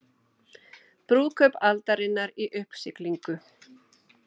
Brúðkaup aldarinnar í uppsiglingu